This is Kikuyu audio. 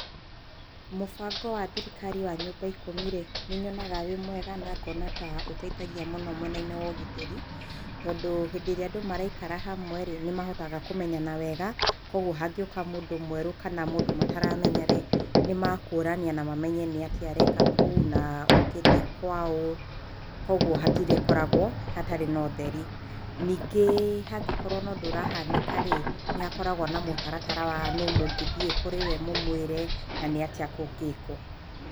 Mũbango wa thirikari wa nyũmba ikũmi-rĩ, nĩ nyonaga wĩ mwega, na ngona ta ũteithagia mũno mwena-inĩ wa ũgitĩri, tondũ hĩndĩ ĩrĩa andũ maraikara hamwe-rĩ, nĩ mahotaga kũmenyana wega, koguo hangĩũka mũndũ mwerũ kana mũndũ mataramenya-rĩ, nĩmakũrania na mamenye nĩkĩ areka kou, na okĩte kwaũ, koguo hatirĩkoragwo hatarĩ na ũtheri. Ningĩ hangĩkorwo na ũndũ ũrahanĩka-rĩ nĩhakoragwo na mũtaratara wa nũ mũngĩthiĩ kũrĩ we mũmwĩre, na nĩ atĩa kũngĩkwo.